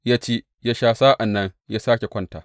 Ya ci, ya sha, sa’an nan ya sāke kwanta.